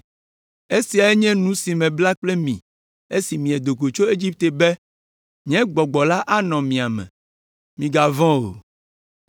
‘Esiae nye nu si mebla kpli mi esi miedo go tso Egipte be, nye Gbɔgbɔ la anɔ mia me. Migavɔ̃ o.’